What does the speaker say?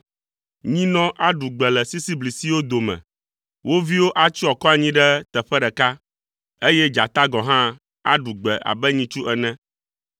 Nyinɔ aɖu gbe le sisiblisiwo dome, wo viwo atsyɔ akɔ anyi ɖe teƒe ɖeka, eye dzata gɔ̃ hã aɖu gbe abe nyitsu ene.